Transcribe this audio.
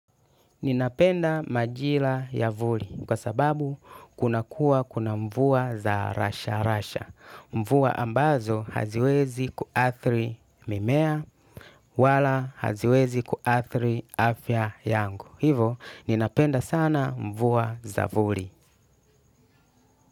Ninapenda majira ya vuli kwa sababu kunakuwa kuna mvua za rasha rasha. Mvua ambazo haziwezi kuathiri mimea wala haziwezi kuathiri afya yangu. Hivo, ninapenda sana mvua za vuli.